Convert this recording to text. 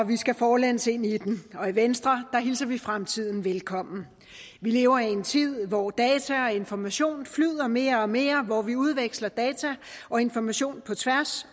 vi skal forlæns ind i den og i venstre hilser vi fremtiden velkommen vi lever i en tid hvor data og information flyder mere og mere hvor vi udveksler data og information på tværs